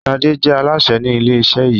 Ṣade jẹ́ Alásè ni ilé iṣẹ yìí